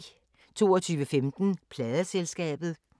22:15: Pladeselskabet